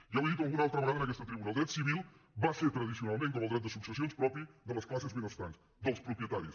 ja ho he dit alguna altra vegada en aquesta tribuna el dret civil va ser tradicionalment com el dret de successions propi de les classes benestants dels propietaris